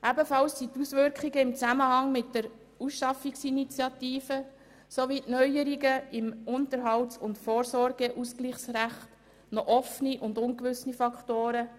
Ebenfalls sind die Auswirkungen im Zusammenhang mit der Initiative «Für die Ausschaffung krimineller Ausländer (Ausschaffungsinitiative)» sowie die Neuerungen im Unterhalts- und Vorsorgeausgleichsrecht noch offene und ungewisse Faktoren.